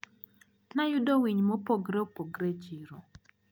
Nayudo winy mopogre opogre e chiro.